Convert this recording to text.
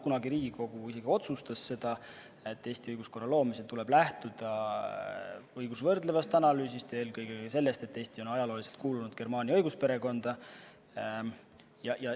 Kunagi Riigikogu isegi otsustas, et Eesti õiguskorra loomisel tuleb lähtuda õigusvõrdlevast analüüsist, eelkõige sellest, et Eesti on ajalooliselt kuulunud germaani õigusperekonda.